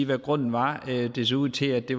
hvad grunden var det så ud til at det